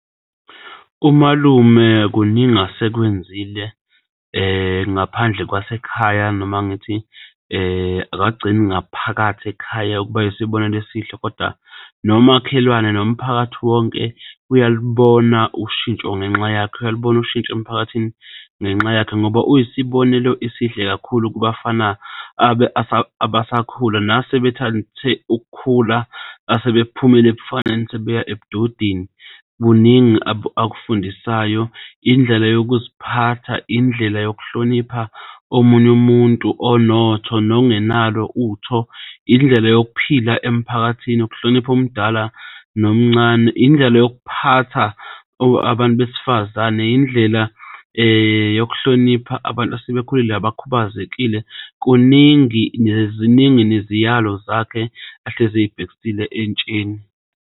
Umalume kuningi asekwenzile ngaphandle kwasekhaya noma ngithi akagcini ngaphakathi ekhaya ukuba isibonelo esihle, kodwa nomakhelwane nomphakathi wonke uyalibona ushintsho ngenxa yakhe, uyalibona ushintsho emphakathini ngenxa yakhe, ngoba uyisibonelo esihle kakhulu kubafana abasakhula nasebethathe ukukhula asebephumele ebufaneni sebeya ebudodeni kuningi akufundisayo. Indlela yokuziphatha, indlela yokuhlonipha omunye umuntu onotho nongenalo utho indlela yokuphila emphakathini ukuhlonipha omdala nomncane, indlela yokuphatha abantu besifazane, indlela yokuhlonipha abantu asebekhulile abakhubazekile. Kuningi ziningi neziyalo zakhe ehlezi eyibhekisile entsheni.